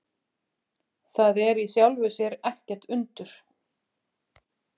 Það er í sjálfu sér ekkert undur.